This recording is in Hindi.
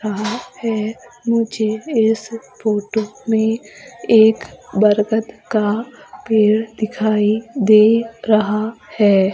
यहां पे मुझे इस फोटो में एक बरगद का पेड़ दिखाई दे रहा है।